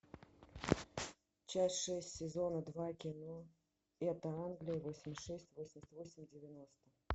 часть шесть сезона два кино это англия восемьдесят шесть восемьдесят восемь девяносто